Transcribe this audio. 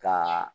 Ka